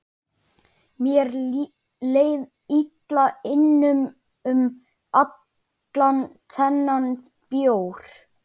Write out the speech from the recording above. Mér leið illa innan um allan þennan bjór.